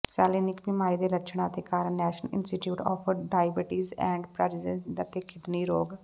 ਸੈਲੈਨੀਕ ਬੀਮਾਰੀ ਦੇ ਲੱਛਣਾਂ ਅਤੇ ਕਾਰਨ National Institute of Diabetes and ਪਾਜੇਜਿਟੀ ਅਤੇ ਕਿਡਨੀ ਰੋਗ